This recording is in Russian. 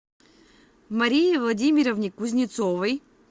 марии владимировне кузнецовой